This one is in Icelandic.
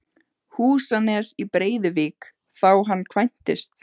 Húsanes í Breiðuvík þá hann kvæntist.